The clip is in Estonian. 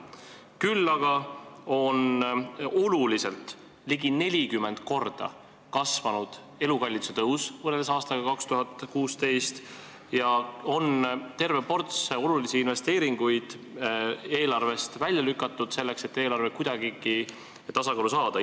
Küll aga on oluliselt, ligi 40 korda suurem elukalliduse tõus võrreldes aastaga 2016 ja terve ports olulisi investeeringuid idapiirist kuni mitmete objektideni on eelarvest välja lükatud, et eelarve kuidagigi tasakaalu saada.